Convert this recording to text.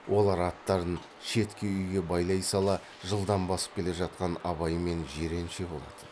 олар аттарын шеткі үйге байлай сала жылдам басып келе жатқан абай мен жиренше болатын